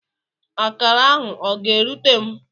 Akara ahụ ọ ga-erute m?